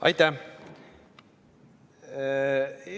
Aitäh!